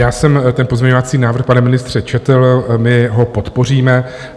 Já jsem ten pozměňovací návrh, pane ministře, četl, my ho podpoříme.